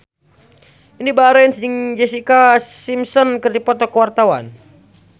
Indy Barens jeung Jessica Simpson keur dipoto ku wartawan